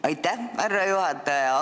Aitäh, härra juhataja!